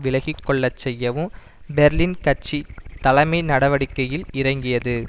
விலகி கொள்ள செய்யவு பெர்லின் கட்சி தலைமை நடவடிக்கையில் இறங்கியது